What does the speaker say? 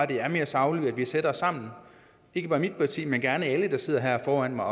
det er mere sagligt at vi sætter os sammen ikke bare mit parti men gerne alle der sidder her foran mig